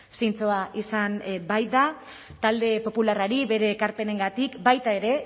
zintzoa izan baita talde popularrari bere ekarpenengatik baita ere